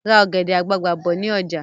Ra ọ̀gẹ̀dẹ̀ àgbagbà bọ̀ si ni ọjà